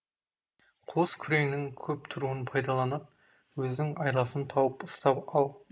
қос күреңнің көп тұруын пайдаланып өзің айласын тауып ұстап ал